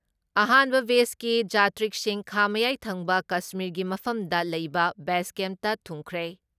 ꯑꯍꯥꯟꯕ ꯕꯦꯖꯀꯤ ꯖꯥꯇ꯭ꯔꯤꯛꯁꯤꯡ ꯈꯥ ꯃꯌꯥꯏ ꯊꯪꯕ ꯀꯁꯃꯤꯔꯒꯤ ꯃꯐꯝꯗ ꯂꯩꯕ ꯕꯦꯁ ꯀꯦꯞꯇ ꯊꯨꯡꯈ꯭ꯔꯦ ꯫